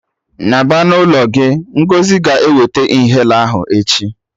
Naba na ụlọ gị! Ngọzi ga-eweta inhaler ahụ echi